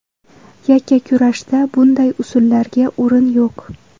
Yakkakurashda bunday usullarga o‘rin yo‘q.